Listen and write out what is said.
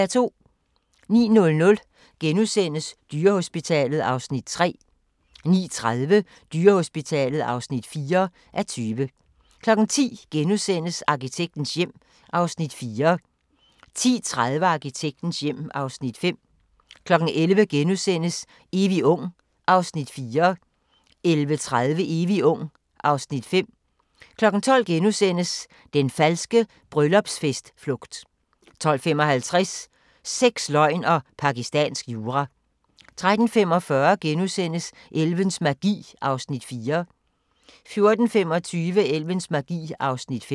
09:00: Dyrehospitalet (3:20)* 09:30: Dyrehospitalet (4:20) 10:00: Arkitektens hjem (Afs. 4)* 10:30: Arkitektens hjem (Afs. 5) 11:00: Evig ung (Afs. 4)* 11:30: Evig ung (Afs. 5) 12:00: Den falske bryllupsfest-flugt * 12:55: Sex, løgn og pakistansk jura 13:45: Elvens magi (4:5)* 14:25: Elvens magi (5:5)